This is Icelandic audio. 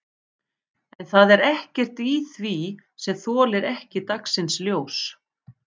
En það er ekkert í því sem þolir ekki dagsins ljós?